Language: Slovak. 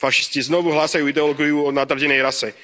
Fašisti znovu hlásajú ideológiu o nadradenej rase.